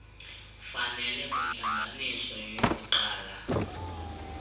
fanele kwintlanganiso yokuqala